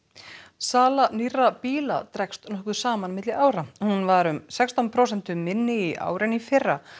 sala nýrra bíla dregst nokkuð saman milli ára hún var um sextán prósentum minni í ár en í fyrra